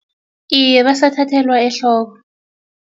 Iye, basathathelwa ehloko.